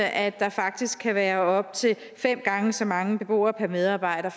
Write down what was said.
at der faktisk kan være op til fem gange så mange beboere per medarbejder